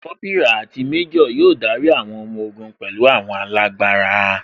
Kópírà àti méjò yóò darí àwọn ọmọ ogun pẹ̀lú àwọn alágbára